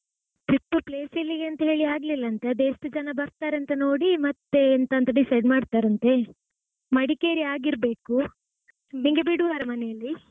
Trip place ಎಲ್ಲಿಗೆಂತ ಹೇಳಿ ಆಗ್ಲಿಲ್ಲಾಂತೆ ಅದು ಎಷ್ಟು ಜನ ಬರ್ತಾರಂತ ನೋಡಿ ಮತ್ತೆ ಎಂತಾಂತ decide ಮಾಡ್ತಾರಂತೆ. ಮಡಿಕೇರಿ ಆಗಿರ್ಬೇಕು ನಿಂಗೆ ಬಿಡುವರ ಮನೆಯಲ್ಲಿ?